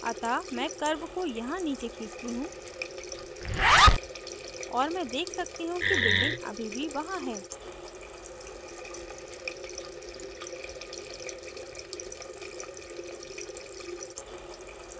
अतः मैं curve को यहाँ नीचे खींचती हूँ और मैं देख सकती हूँ कि building अभी भी वहां है